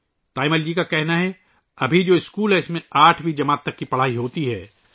تایمل جی کا کہنا ہے کہ ابھی جو اسکول ہے ، اس میں آٹھویں جماعت تک پڑھائی ہوتی ہے